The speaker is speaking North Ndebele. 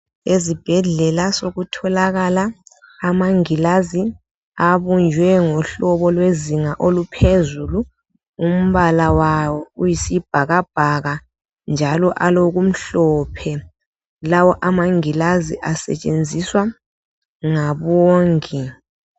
Ezibhedlela sokutholakala amangilazi abunjwe ngohlobo lwezinga oluphezulu . Umbala wawo uyisibhakabhaka njalo alokumhlophe lawo amangilazi asetshenziswa ngabongi.